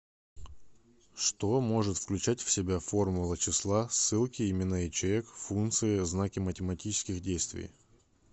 что может включать в себя формула числа ссылки имена ячеек функции знаки математических действий